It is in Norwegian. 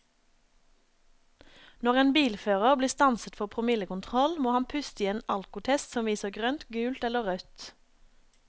Når en bilfører blir stanset for promillekontroll, må han puste i en alkotest som viser grønt, gult eller rødt.